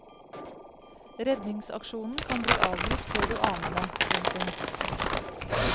Redningsaksjonen kan bli avbrutt før du aner det. punktum